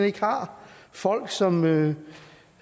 ikke har folk som